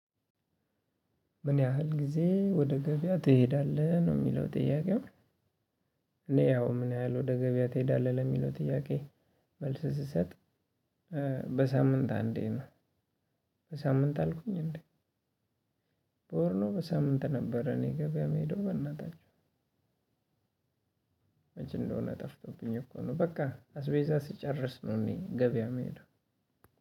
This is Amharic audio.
ምን ያህል ጊዜ ወደ ገበያ ትሄዳለህ ነው የሚለው ጥያቄው? እኔ ያው ምን ያህል ወደ ገበያ ትሄዳለህ ለሚለው ጥያቄ መልስ ስሰጥ። በሳምንት አንዴ ነው። በሳምንት አልኩኝ እንዴ? በወር ነው በሳምንት ነበር እኔ ገበያ የምሄደው በእናታችሁ። መቼ እንደሆነ ጠፍቶብኝ እኮ ነው። በቃ አስቤዛ ስጨርስ ነው እኔ ገበያ የምሄደው።